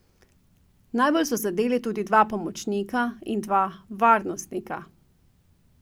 Naboji so zadeli tudi dva pomočnika in dva varnostnika.